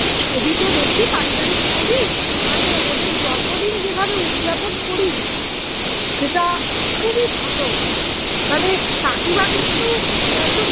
ছবি তো দেখি পারিবারিক ছবি মানে ওদের জন্মদিন যেভাবে উজ্জাপন করিস সেটা খুবই ভালো মানে কাকিমা কিন্তু একদম